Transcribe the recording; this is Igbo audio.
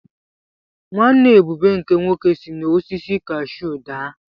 Nwanne Ebube nke nwoke si n’osisi kashuu daa.